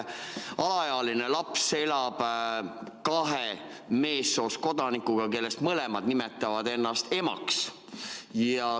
Alaealine laps elab kahe meessoost kodanikuga, kes mõlemad nimetavad ennast emaks.